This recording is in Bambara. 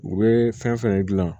U bɛ fɛn fɛn dilan